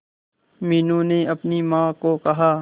मीनू ने अपनी मां को कहा